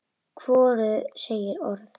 Hvorug segir orð.